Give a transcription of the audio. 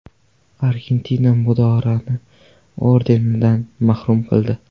Argentina Maduroni ordenidan mahrum qildi.